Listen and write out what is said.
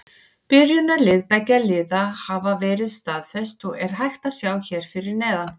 Byrjunarlið beggja liða hafa verið staðfest og er hægt að sjá hér fyrir neðan.